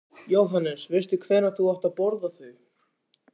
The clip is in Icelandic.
Jóhannes: Veistu hvenær þú átt að borða þau?